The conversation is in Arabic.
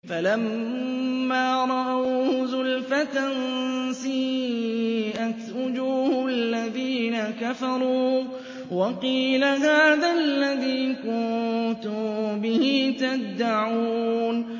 فَلَمَّا رَأَوْهُ زُلْفَةً سِيئَتْ وُجُوهُ الَّذِينَ كَفَرُوا وَقِيلَ هَٰذَا الَّذِي كُنتُم بِهِ تَدَّعُونَ